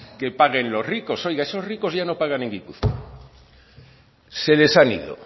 que paguen los ricos oiga esos ricos ya no pagan en gipuzkoa se les han ido